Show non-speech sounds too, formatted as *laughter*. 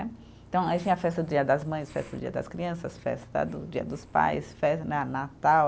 *unintelligible* Então aí tinha a festa do dia das mães, festa do dia das crianças, festa do dia dos pais, festa na natal.